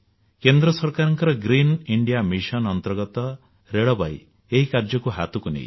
କେନ୍ଦ୍ର ସରକାରଙ୍କ Green India Mission ଅଧୀନରେ ରେଳବାଇ ମଧ୍ୟ ଏଭଳି କାର୍ଯ୍ୟ ହାତକୁ ନେଇଛି